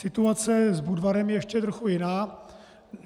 Situace s Budvarem je ještě trochu jiná.